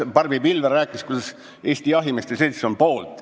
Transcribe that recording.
Barbi Pilvre rääkis, kuidas Eesti Jahimeeste Selts on poolt.